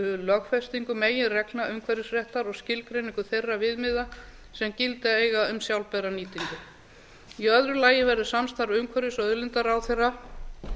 lögfestingu meginreglna umhverfisréttar og skilgreiningu þeirra viðmiða sem gilda eiga um sjálfbæra nýtingu í öðru lagi verður samstarf umhverfis og auðlindaráðherra